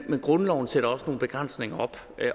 men grundloven sætter også nogle begrænsninger op